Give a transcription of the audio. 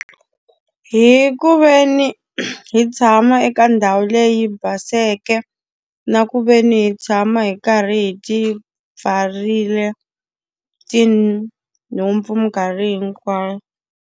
Hi ku ve ni hi tshama eka ndhawu leyi baseke, na ku ve ni hi tshama hi karhi hi ti pfarile tinhompfu minkarhi hinkwayo.